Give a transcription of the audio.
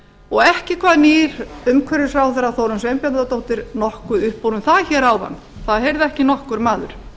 og ekki kvað nýr umhverfisráðherra þórunn sveinbjarnardóttir nokkuð upp úr um það hér áðan það heyrði ekki nokkur maður